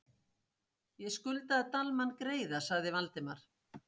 . ég skuldaði Dalmann greiða sagði Valdimar.